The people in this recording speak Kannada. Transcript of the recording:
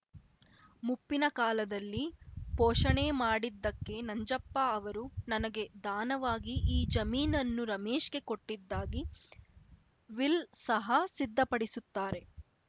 ಮುಪ್ಪಿನ ಕಾಲದಲ್ಲಿ ಪೋಷಣೆ ಮಾಡಿದ್ದಕ್ಕೆ ನಂಜಪ್ಪ ಅವರು ನನಗೆ ದಾನವಾಗಿ ಈ ಜಮೀನನ್ನು ರಮೇಶ್‌ಗೆ ಕೊಟ್ಟಿದ್ದಾಗಿ ವಿಲ್‌ ಸಹ ಸಿದ್ಧಪಡಿಸುತ್ತಾರೆ